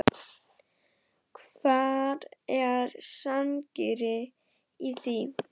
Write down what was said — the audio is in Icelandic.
Hvar er sanngirnin í því?